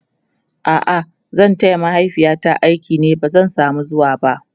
a'a zan taya mahaifiyata aiki ba zan samu zuwaba